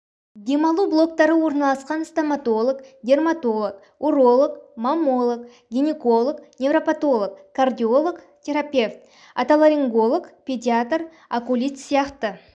демалу блоктары орналасқан стоматолог дерматолог уролог маммолог гинеколог невропатолог кардиолог терапевт отоларинголог педиатр окулист сияқты